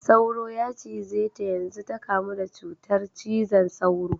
Sauro ya cize ta yanzu ta kamu da cutar cizon sauro.